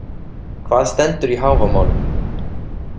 Hvað stendur í Hávamálum?